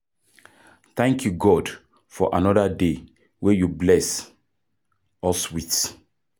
Thank you God for another day wey you bless us with.